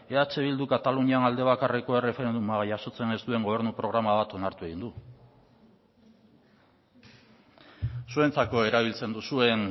eh bilduk katalunian alde bakarreko erreferenduma jasotzen ez duen gobernu programa bat onartu egin du zuentzako erabiltzen duzuen